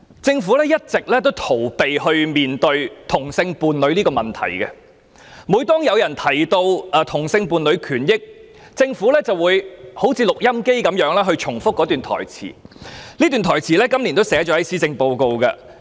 政府一直逃避面對同性伴侶問題，每當有人提到同性伴侶權益時，政府便有如錄音機般重複一段台詞，而這段台詞亦有記入今年的施政報告中。